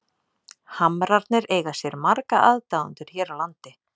Hamrarnir eiga sér marga aðdáendur hér á landi.